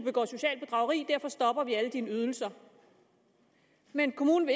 begår socialt bedrageri derfor stopper vi alle dine ydelser men kommunen